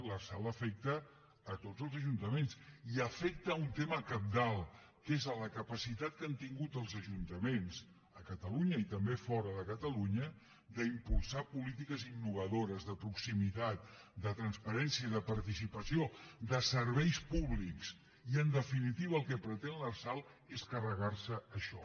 l’lrsal afecta a tots els ajuntaments i afecta un tema cabdal que és la capacitat que han tingut els ajuntaments a catalunya i també fora de catalunya d’impulsar polítiques innovadores de proximitat de transparència de participació de serveis públics i en definitiva el que pretén l’lrsal és carregar se això